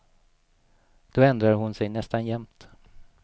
Då ändrade hon sig nästan jämt.